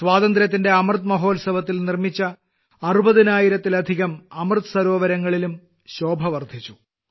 സ്വാതന്ത്ര്യത്തിന്റെ അമൃത് മഹോത്സവത്തിൽ നിർമ്മിച്ച അറുപതിനായിരത്തിലധികം അമൃത് സരോവരങ്ങളിലും ശോഭ വർദ്ധിച്ചു